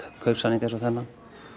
kaupsamning eins og þennan